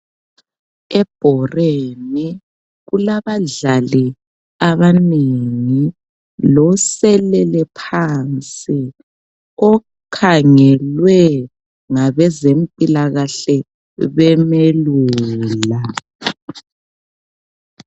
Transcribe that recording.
Ebhoreni kulabadlali abanengi loselele phansi okhangelwe ngabezempilakahle bemelula.